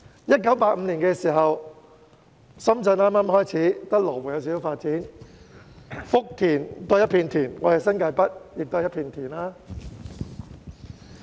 1985年深圳剛剛開始發展，只有羅湖略有發展，福田仍是一片田原，而我們的新界北也是一片田原。